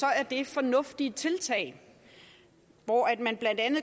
er det fornuftige tiltag man